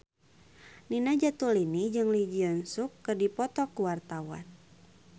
Nina Zatulini jeung Lee Jeong Suk keur dipoto ku wartawan